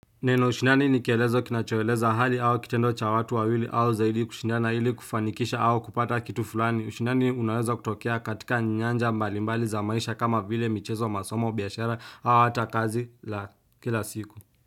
Neno ushindani ni kielezo kinachoeleza hali au kitendo cha watu wawili au zaidi kushindana ili kufanikisha au kupata kitu fulani. Ushindani unaweza kutokea katika nyanja mbalimbali za maisha kama vile michezo, masomo, biashara au hata kazi za kila siku.